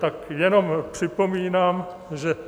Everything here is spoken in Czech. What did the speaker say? Tak jenom připomínám, že...